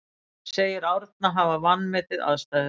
Segir Árna hafa vanmetið aðstæður